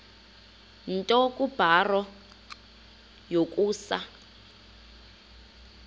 nto kubarrow yokusa